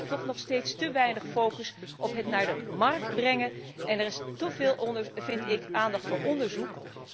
Ik merk toch nog steeds te weinig focus op het naar de markt brengen. Er is teveel aandacht voor onderzoek.